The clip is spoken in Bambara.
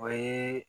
O ye